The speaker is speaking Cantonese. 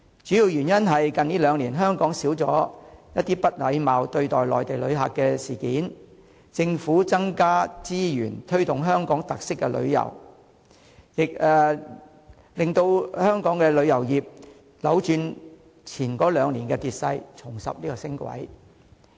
主要原因是近兩年香港少了不禮貌對待內地旅客的事件，政府增加資源推動香港特色旅遊，使香港的旅遊業扭轉前兩年的跌勢，重拾升軌。